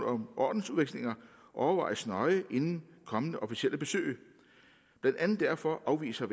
om ordensudvekslinger overvejes nøje inden kommende officielle besøg blandt andet derfor afviser